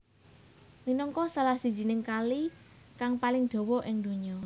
Minangka salah sijining kali kang paling dawa ing donya